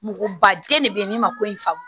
Mɔgɔ bajɛ de bɛ yen min ma ko in faamu